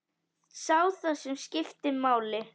Sá það sem skipti máli.